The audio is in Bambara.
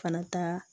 Kana taa